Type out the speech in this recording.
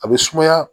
A bɛ sumaya